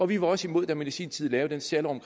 vi var også imod da man i sin tid lavede særloven